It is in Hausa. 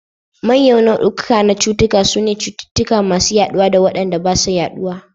Manyan nau'ukan biyu na cututtuka sune cututtuka masu yaɗuwa da waɗanda ba sa yaɗuwa.